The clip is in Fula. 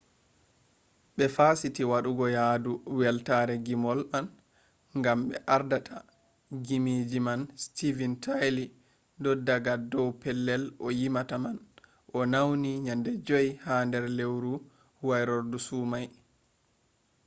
ɓe fasiti waɗugo yadu weltare ngimol man gam mo ardata ngimeji man stevin taila do’i daga dow pellel o yimata man o nauni nyande 5 ha nder lewruwairorfu sumai